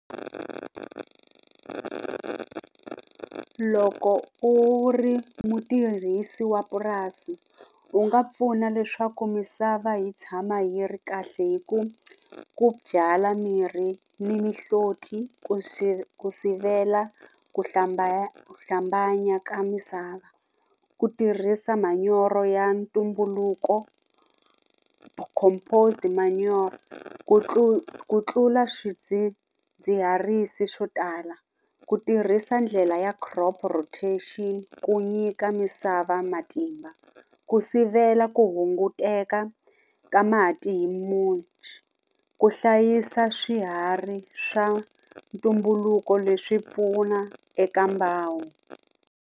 Loko u ri mutirhisi wa purasi u nga pfuna leswaku misava yi tshama yi ri kahle hi ku ku byala mirhi ni mihloti ku ku sivela ku hlambanya ka misava. Ku tirhisa manyoro ya ntumbuluko composed manyoro ku ku tlula swidzidziharisi swo tala ku tirhisa ndlela ya crop rotation ku nyika misava matimba ku sivela ku hunguteka ka mati hi ku hlayisa swiharhi swa ntumbuluko leswi pfuna eka mbangu.